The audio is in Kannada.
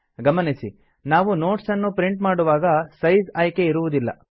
ಗಮನಿಸಿ ನಾವು ನೋಟ್ಸ್ ನ್ನು ಪ್ರಿಂಟ್ ಮಾಡುವಾಗ ಸೈಜ್ ಆಯ್ಕೆ ಇರುವುದಿಲ್ಲ